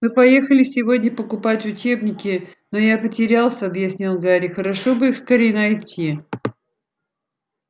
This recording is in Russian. мы поехали сегодня покупать учебники но я потерялся объяснил гарри хорошо бы их скорее найти